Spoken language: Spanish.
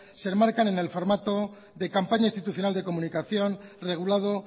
se enmarcan en el formato de campaña institucional de comunicación regulado